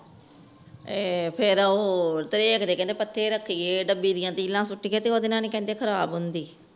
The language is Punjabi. ਇਹ ਫੇਰ ਓ ਕਹਿੰਦੇ ਰੱਖੀਏ ਡੱਬੀ ਦੀ ਸੁਟਿਆ ਰਿੱਲਾ ਸੁਤੀਏ ਤੇ ਉਹਂਦੇ ਨਾਲ ਕਹਿੰਦੇ ਖਰਾਬ ਹੁੰਦੇ